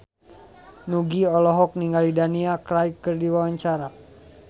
Nugie olohok ningali Daniel Craig keur diwawancara